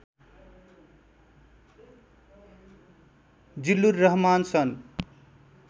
जिल्लुर रहमान सन्